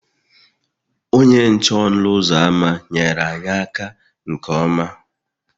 Onye nche ọnụ ụzọ ámá nyeere anyị aka nke ọma